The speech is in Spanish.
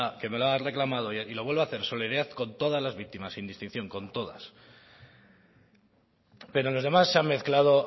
ha reclamado y lo vuelvo a hacer solidaridad con todas las víctimas sin distinción con todas pero en los demás se han mezclado